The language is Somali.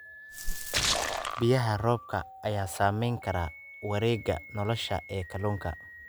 Biyaha roobka ayaa saameyn kara wareegga nolosha ee kalluunka.